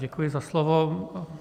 Děkuji za slovo.